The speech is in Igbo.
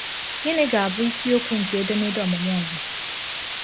Gịnị ga-abụ isiokwu nke edemede ọmụmụ ọzọ?